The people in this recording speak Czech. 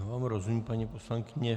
Já vám rozumím, paní poslankyně.